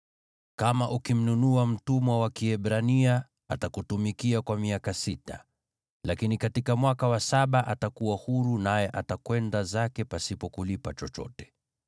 “Kama ukimnunua mtumwa wa Kiebrania, atakutumikia kwa miaka sita. Lakini katika mwaka wa saba, atakuwa huru naye atakwenda zake pasipo kulipa chochote.